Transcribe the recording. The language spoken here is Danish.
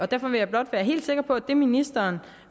derfor vil jeg blot være helt sikker på at det ministeren